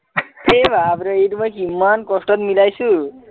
এই বাপৰে এইটো মই কিমান কস্টত মিলাইছো